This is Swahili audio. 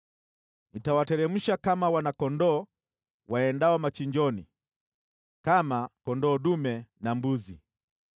“Nitawateremsha kama wana-kondoo waendao machinjoni, kama kondoo dume na mbuzi.